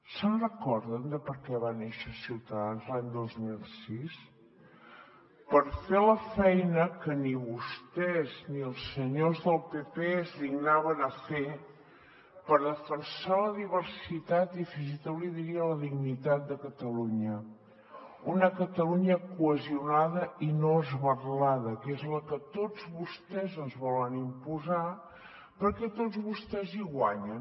se’n recorden de per què va néixer ciutadans l’any dos mil seis per fer la feina que ni vostès ni els senyors del pp es dignaven a fer per defensar la diversitat i fins i tot li diria la dignitat de catalunya una catalunya cohesionada i no esberlada que és la que tots vostès ens volen imposar perquè tots vostès hi guanyen